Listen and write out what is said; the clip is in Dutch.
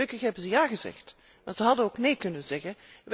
Gelukkig hebben ze ja gezegd, want ze hadden ook nee kunnen zeggen.